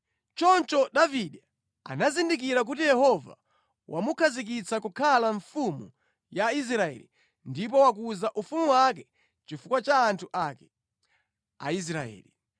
Choncho Davide anazindikira kuti Yehova wamukhazikitsa kukhala mfumu ya Israeli ndipo wakuza ufumu wake chifukwa cha anthu ake, Aisraeli.